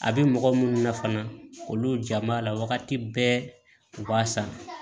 A bɛ mɔgɔ minnu na fana olu jaa m'a la wagati bɛɛ u b'a san